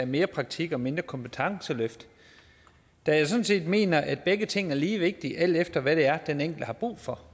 mere praktik og mindre kompetenceløft da jeg sådan set mener at begge ting er lige vigtige alt efter hvad det er den enkelte har brug for